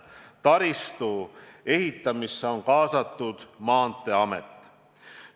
Taristu ehitamisse on kaasatud Maanteeamet.